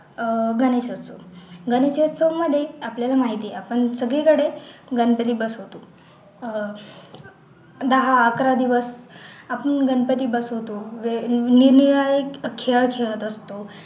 अह गणेशोत्सव गणेशोत्सव मध्ये आपल्याला माहिती आहे आपण सगळीकडे गणपती बसवतो अह दहा, अकरा दिवस आपण गणपती बसवतो जे निरनिराळे खेळ खेळत असतो